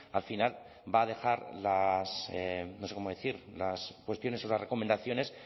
al final va a dejar las no sé cómo decir las cuestiones o las recomendaciones